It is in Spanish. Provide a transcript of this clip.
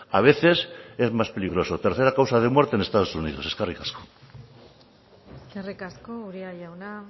a veces es más peligroso tercera causa de muerte en estados unidos eskerrik asko eskerrik asko uria jauna